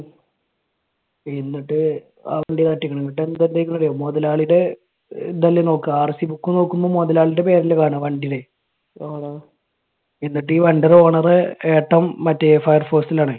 എന്നിട്ട് എന്നിട്ട് എന്താ ഇണ്ടായേന്ന് അറിയോ? മുതലാളിയുടെ ഇതല്ലേ നോക്കുക. RCbook നോക്കുമ്പോൾ മുതലാളിയുടെ പേരല്ലേ കാണുക വണ്ടിയിൽ. എന്നിട്ട് ഈ വണ്ടിയുടെ owner ഏട്ടൻ മറ്റേ Fire Force ഇൽ ആണേ.